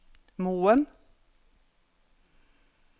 Moen